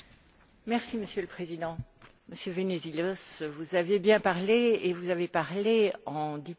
Monsieur le Président, Monsieur Venizelos, vous avez bien parlé et vous avez parlé en diplomate.